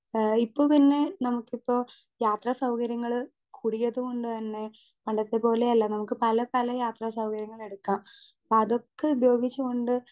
Speaker 2 ഏ ഇപ്പൊ പിന്നെ നമുക്കിപ്പോ യാത്രാ സൗകര്യങ്ങള് കൂടിയത് കൊണ്ട് തന്നെ പണ്ടത്തെ പോലെയല്ല നമുക്ക് പലപല യാത്രാ സൗകര്യങ്ങളെടുക്കാ അപ്പതൊക്കെ ഉപയോഗിച്ച് കൊണ്ട്.